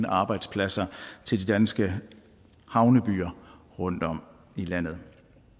arbejdspladser til de danske havnebyer rundtom i landet